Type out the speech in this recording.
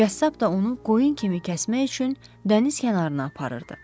Qəssab da onu qoyun kimi kəsmək üçün dəniz kənarına aparırdı.